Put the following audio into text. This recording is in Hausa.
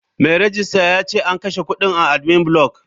Mai rejista yace an kashe kudin a admin block.